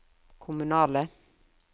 kommunale